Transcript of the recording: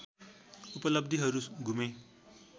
उपलब्धिहरू गुमे